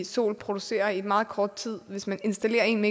sol producerer i meget kort tid hvis man installerer en